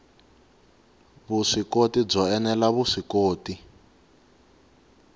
vuswikoti byo ene la vuswikoti